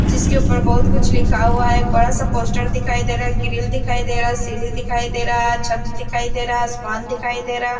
जिसके ऊपर बहोत कुछ लिखा हुआ है एक बड़ा सा पोस्टर दिखाई दे रहा ग्रीव दिखाई दे रहा सीढ़ी दिखाई दे रहा छत दिखाई दे रहा आसमान दिखाई दे रहा--